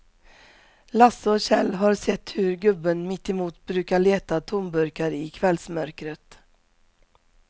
Lasse och Kjell har sett hur gubben mittemot brukar leta tomburkar i kvällsmörkret.